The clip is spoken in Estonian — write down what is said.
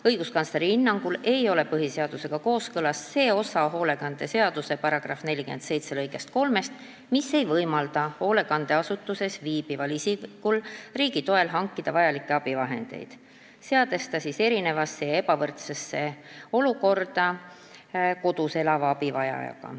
Õiguskantsleri hinnangul ei ole põhiseadusega kooskõlas see osa sotsiaalhoolekande seaduse § 47 lõikest 3, mis ei võimalda hoolekandeasutuses viibival isikul riigi toel hankida vajalikke abivahendeid, seades ta erinevasse ja ebavõrdsesse olukorda võrreldes kodus elava abivajajaga.